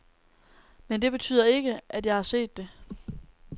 Men det betyder ikke, at jeg har set det.